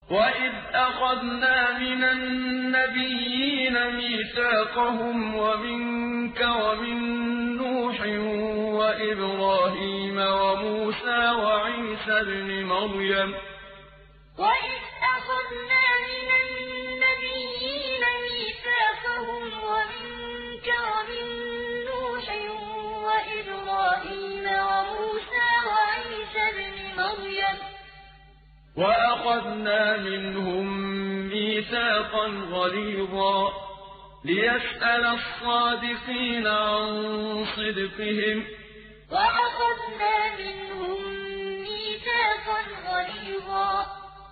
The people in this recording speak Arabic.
وَإِذْ أَخَذْنَا مِنَ النَّبِيِّينَ مِيثَاقَهُمْ وَمِنكَ وَمِن نُّوحٍ وَإِبْرَاهِيمَ وَمُوسَىٰ وَعِيسَى ابْنِ مَرْيَمَ ۖ وَأَخَذْنَا مِنْهُم مِّيثَاقًا غَلِيظًا وَإِذْ أَخَذْنَا مِنَ النَّبِيِّينَ مِيثَاقَهُمْ وَمِنكَ وَمِن نُّوحٍ وَإِبْرَاهِيمَ وَمُوسَىٰ وَعِيسَى ابْنِ مَرْيَمَ ۖ وَأَخَذْنَا مِنْهُم مِّيثَاقًا غَلِيظًا